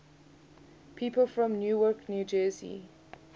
people from newark new jersey